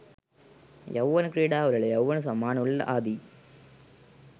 යෞවන ක්‍රීඩා උළෙල යෞවන සම්මාන උළෙල ආදී